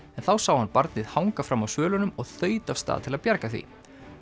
þá sá hann barnið hanga fram af svölunum og þaut af stað til að bjarga því